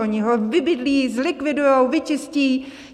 Oni ho vybydlí, zlikvidujou, vyčistí!